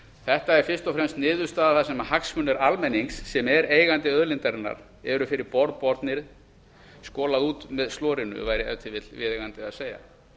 þetta er fyrst og fremst niðurstaða þar sem hagsmunir almennings sem er eigandi auðlindarinnar eru fyrir borð bornir skolað út með slorinu væri ef til vill viðeigandi að segja